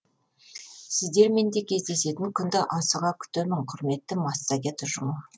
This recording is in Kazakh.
сіздермен де кездесетін күнді асыға күтемін құрметті массагет ұжымы